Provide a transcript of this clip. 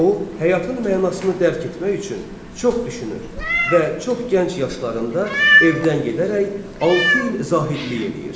O həyatın mənasını dərk etmək üçün çox düşünür və çox gənc yaşlarında evdən gedərək altı il zahidlik eləyir.